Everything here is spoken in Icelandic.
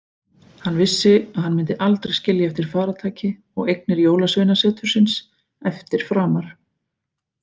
Hann vissi að hann myndi aldrei skilja eftir farartæki og eignir jólasveinasetursins eftir framar.